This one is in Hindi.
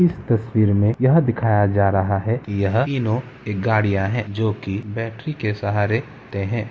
इस तस्वीर में यह दिखाया जा रहा है की यह तीनों एक गड़ियाँ है जो की बैटरी के सहारे ते है।